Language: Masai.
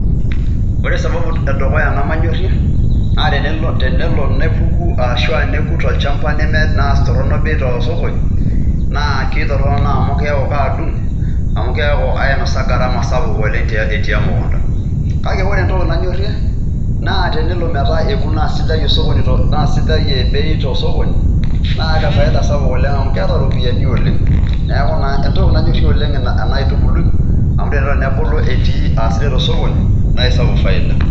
Ore sababu edukuya nemanyorrie, naa tenelo nepuku aashu nekut olchamba naa torrono bei tosokoni, naa kitorrono amu keeku kaadung', amu keeku aainosa garama sapuk oleng' etii emukunta. Kake ore entoki nanyorrie, naa tenelo naa sidai bei tosokoni, naa kefaida sapuk oleng' amu keeta iropiyiani oleng'. Neeku naa entoki nanyorrie oleng' ena aitubului, amu tenelo nebulu aa sidai tosokoni, naa isapuk faida.